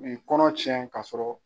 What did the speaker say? Nin kɔnɔ tiɲɛ ka sɔrɔ.